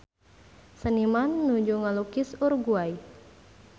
Seniman nuju ngalukis Uruguay